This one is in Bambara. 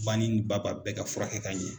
Banin ni ba ba, bɛɛ ka furakɛ ka ɲɛn.